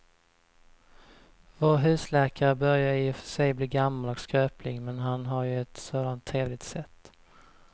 Vår husläkare börjar i och för sig bli gammal och skröplig, men han har ju ett sådant trevligt sätt!